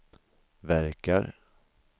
verkar